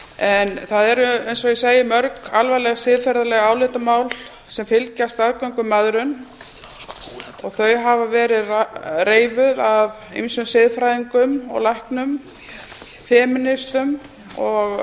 en það eru eins og ég segi mörg alvarleg siðferðisleg álitamál sem fylgja staðgöngumæðrum og þau hafa verið reifuð af ýmsum siðfræðingum og læknum femínistum og